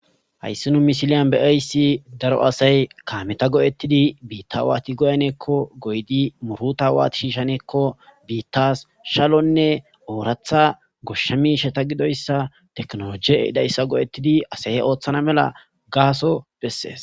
hayssinu misiliyan be7ayssi daro asay kaameta go7ettidi biitta waati goyneekko goydi muruta waati shiishaneekko biittas shalonne ooratha goshsha misheta gidoyssa teknoloje eidayssa go7ettidi asaye ooththana mela gaaso bessees